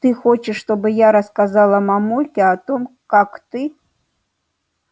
ты хочешь чтобы я рассказала мамульке о том как ты